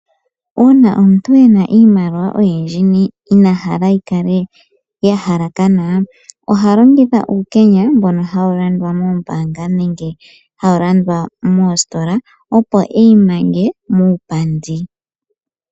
Uuna omuntu ena iimaliwa oyindji ina hala yi kale ya halakana ,oha longitha uukenya mboka hawu landwa moombanga nenge hawu landwa moositola opo eyi mange mupandi.